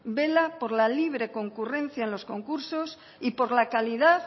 vela por la libre concurrencia en los concursos y por la calidad